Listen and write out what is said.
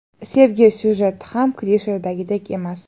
Sevgi syujeti ham klishedagiday emas.